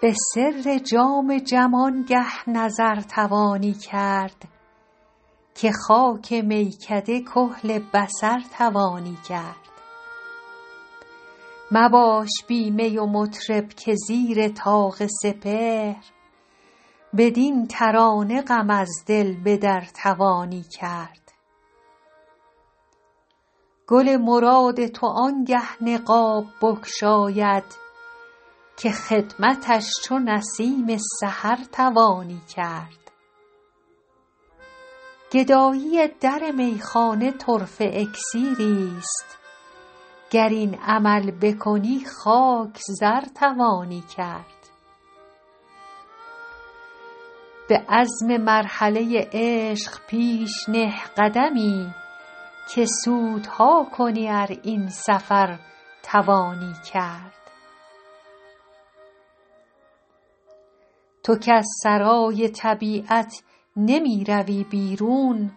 به سر جام جم آنگه نظر توانی کرد که خاک میکده کحل بصر توانی کرد مباش بی می و مطرب که زیر طاق سپهر بدین ترانه غم از دل به در توانی کرد گل مراد تو آنگه نقاب بگشاید که خدمتش چو نسیم سحر توانی کرد گدایی در میخانه طرفه اکسیریست گر این عمل بکنی خاک زر توانی کرد به عزم مرحله عشق پیش نه قدمی که سودها کنی ار این سفر توانی کرد تو کز سرای طبیعت نمی روی بیرون